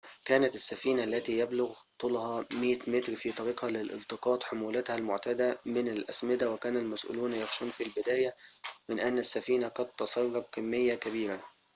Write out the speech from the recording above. كانت السفينة التي يبلغ طولها 100 متر في طريقها لالتقاط حمولتها المعتادة من الأسمدة وكان المسؤولون يخشون في البداية من أن السفينة قد تسرب كمية كبيرة